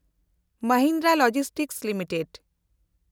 Mahindra logistic limited